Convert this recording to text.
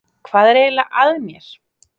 Hvað er eiginlega að mér?